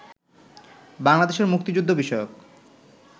বাংলাদেশের মুক্তিযুদ্ধবিষয়ক